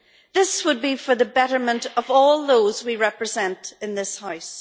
This would be for the betterment of all those we represent in this House.